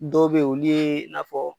Dɔw be ye olu ye n'a fɔ